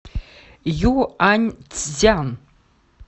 юаньцзян